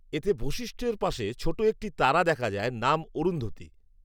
এতে বশিষ্ঠএর পাশে ছোটো একটি তারা দেখা যায়, নাম অরুন্ধতী